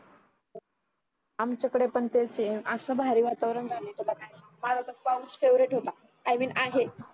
आमच्याकडे पण तेच आहे असं भारी वातावरण माझा तर पाऊस फेवरेट होता i mean आहे